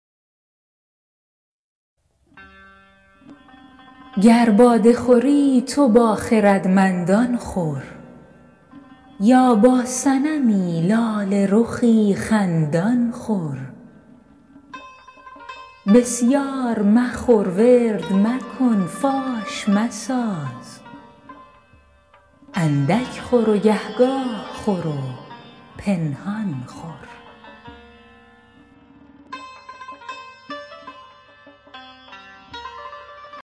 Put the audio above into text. گر باده خوری تو با خردمندان خور یا با صنمی لاله رخی خندان خور بسیار مخور ورد مکن فاش مساز اندک خور و گهگاه خور و پنهان خور